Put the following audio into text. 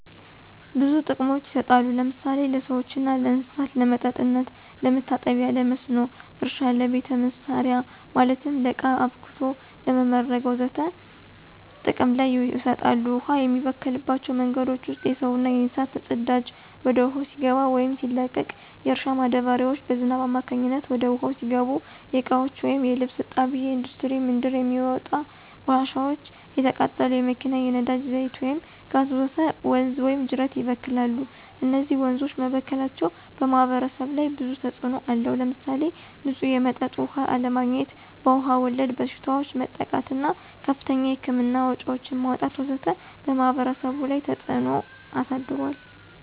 ብዙ ጥቅሞች ይሰጣሉ ለምሳሌ ለሰዎችና ለእንሰሳት ለመጠጥነት፣ ለመታጠቢ ለመስኖ እረሻ ለቤተ መሰሪያ ማለትም ለቃ አብክቶ ለመምረግ ወዘተ ጥቅም ይሰጣሉ። ውሃ የሚበከልባቸው መንገዶች ውስጥ የሰውና የእንስሳት ፅዳጂ ወደ ውሃው ሲገባ ወይም ሲለቀቅ፣ የእርሻ ማዳበሪያዎች በዝናብ አማካኝነት ወደ ውሃው ሲገቡ፣ የእቃዎች ወይም የልብስ እጣቢ፣ እንዱስትሪ ምንድር የሚውጥ ቆሻሻዎች፣ የተቃጠሉ የመኪና የነዳጂ ዛይት ወይም ጋዝ ወዘተ ወንዝ ወይም ጂረት ይበክላል። እነዚህ ወንዞች መበከላቸው በማህበረሰቡ ላይ ብዙ ተጽእኖ አለው። ለምሳሌ ንፁህ የመጠጥ ውሃ አለማግኝት፣ በዉሃ ወለድ በሽታዎች መጠቃት እና ከፍተኛ የህክምና ወጭዎችን ማውጣት ወዘተ በማህበረሰቡ ላይ ተፀ ተጽዕኖ አሳድሯል።